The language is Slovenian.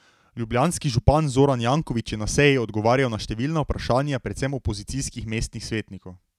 Ljubljanski župan Zoran Janković je na seji odgovarjal na številna vprašanja predvsem opozicijskih mestnih svetnikov.